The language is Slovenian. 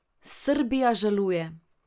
Srbija žaluje.